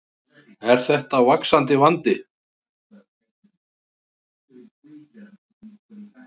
Elísabet Inga Sigurðardóttir: Er þetta vaxandi vandi?